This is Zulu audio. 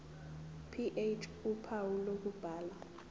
ph uphawu lokubhala